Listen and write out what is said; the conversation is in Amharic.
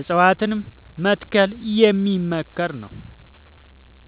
እፀዋትን መትከል የሚመከር ነው።